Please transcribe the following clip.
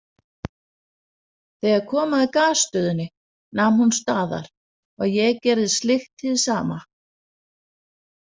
Þegar kom að Gasstöðinni nam hún staðar og ég gerði slíkt hið sama.